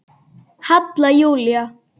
Halla Júlía.